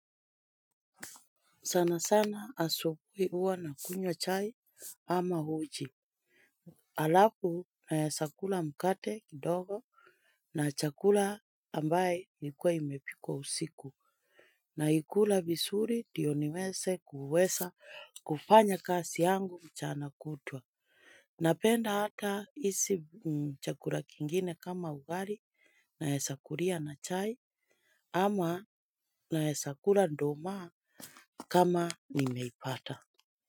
Sana sana asubuhu huwa na kunywa chai ama uji. Alafu naweza kula mkate kidogo. Na chakula ambaye nikuwa imepikwa usiku naikula vizuri ndio niweze kuweza kufanya kazi yangu mchana kutwa. Napenda hata hizi chakula kingine kama ugali naweza kulia na chai ama nawezakula nduma kama nimeipata.